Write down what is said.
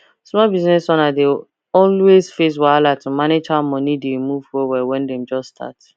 small business owners dey always face wahala to manage how moni dey move well when dem just start